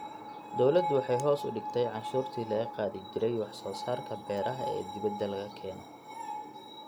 Dawladdu waxay hoos u dhigtay cashuurtii laga qaadi jiray wax soo saarka beeraha ee dibadda laga keeno.